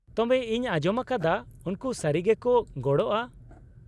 -ᱛᱚᱵᱮ ᱤᱧ ᱟᱸᱡᱚᱢ ᱟᱠᱟᱫᱟ ᱩᱱᱠᱩ ᱥᱟᱹᱨᱤ ᱜᱮᱠᱚ ᱜᱚᱲᱚᱜᱼᱟ ᱾